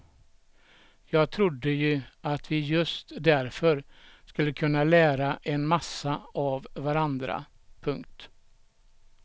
Jag trodde ju att vi just därför skulle kunna lära en massa av varandra. punkt